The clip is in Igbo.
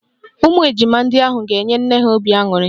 Ụmụ ejima ndị ahụ ga-enye nne ha obi aṅụrị